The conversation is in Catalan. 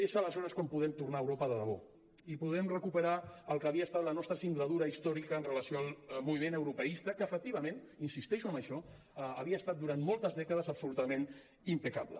és aleshores quan podrem tornar a europa de debò i podrem recuperar el que havia estat la nostra singladura històrica amb relació al moviment europeista que efectivament insisteixo en això havia estat durant moltes dècades absolutament impecable